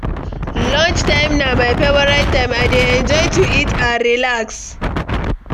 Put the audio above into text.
Lunchtime na my favorite time; I dey enjoy to eat and relax.